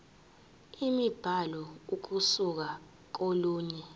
imibhalo ukusuka kolunye